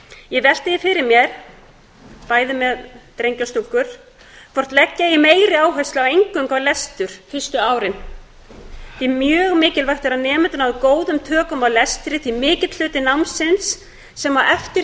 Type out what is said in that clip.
ég velti því fyrir mér bæði með drengi og stúlkur hvort leggja eigi meiri áherslu á eingöngu á lestur fyrstu árin þetta er mjög mikilvægt þegar nemendur ná góðum tökum á lestri því mikill hluti námsins sem á